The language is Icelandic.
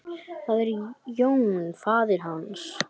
Það er Jón faðir hans.